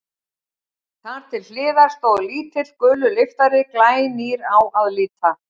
Þar til hliðar stóð lítill, gulur lyftari, glænýr á að líta.